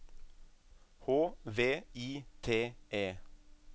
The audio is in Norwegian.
H V I T E